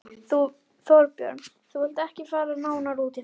Þorbjörn: Þú vilt ekki fara nánar út í það?